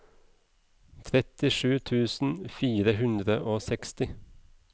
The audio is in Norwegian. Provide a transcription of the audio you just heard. trettisju tusen fire hundre og seksti